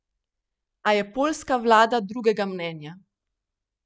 A je poljska vlada drugega mnenja.